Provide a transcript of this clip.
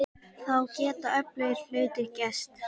Þá geta öflugir hlutir gerst.